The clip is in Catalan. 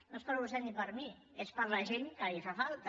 no és per a vostè ni per a mi és per a la gent que li fa falta